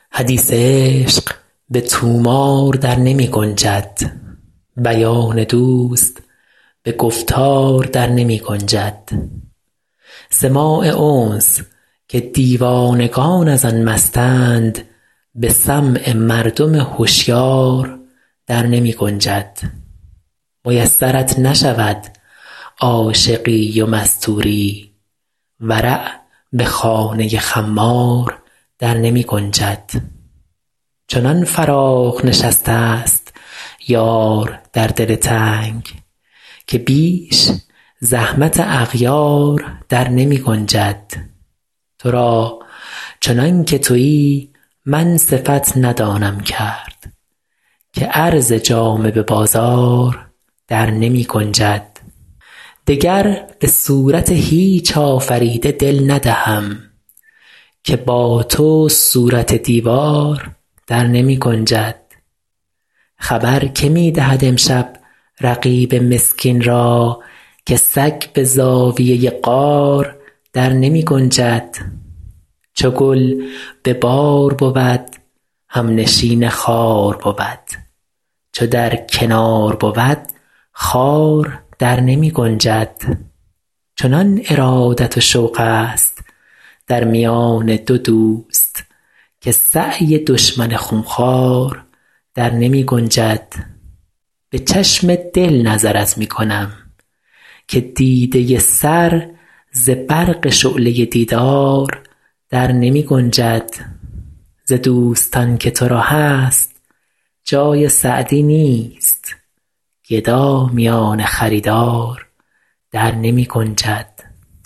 حدیث عشق به طومار در نمی گنجد بیان دوست به گفتار در نمی گنجد سماع انس که دیوانگان از آن مستند به سمع مردم هشیار در نمی گنجد میسرت نشود عاشقی و مستوری ورع به خانه خمار در نمی گنجد چنان فراخ نشسته ست یار در دل تنگ که بیش زحمت اغیار در نمی گنجد تو را چنان که تویی من صفت ندانم کرد که عرض جامه به بازار در نمی گنجد دگر به صورت هیچ آفریده دل ندهم که با تو صورت دیوار در نمی گنجد خبر که می دهد امشب رقیب مسکین را که سگ به زاویه غار در نمی گنجد چو گل به بار بود همنشین خار بود چو در کنار بود خار در نمی گنجد چنان ارادت و شوق ست در میان دو دوست که سعی دشمن خون خوار در نمی گنجد به چشم دل نظرت می کنم که دیده سر ز برق شعله دیدار در نمی گنجد ز دوستان که تو را هست جای سعدی نیست گدا میان خریدار در نمی گنجد